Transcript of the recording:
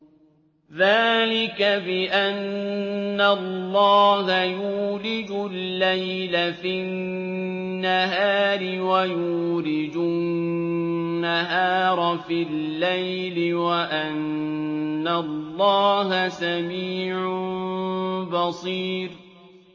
ذَٰلِكَ بِأَنَّ اللَّهَ يُولِجُ اللَّيْلَ فِي النَّهَارِ وَيُولِجُ النَّهَارَ فِي اللَّيْلِ وَأَنَّ اللَّهَ سَمِيعٌ بَصِيرٌ